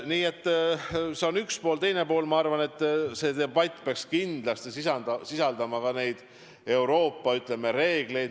Teiseks peaks debatt minu arvates kindlasti sisaldama ka Euroopa reegleid.